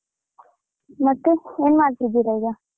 ಮತ್ತೆ ಏನ್ ಮಾಡ್ತಿದ್ದೀರಾ ಈಗ?